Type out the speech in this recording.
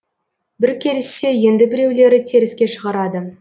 бірі келіссе енді біреулері теріске шығарады